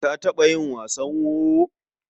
Ka taɓa yi wasan wowo?